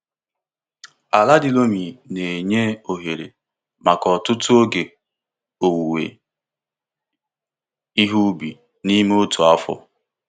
Ala di loamy na-enye ohere maka ọtụtụ oge owuwe ihe ubi n'ime otu afọ.